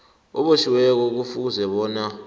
obotjhiweko kufuze bona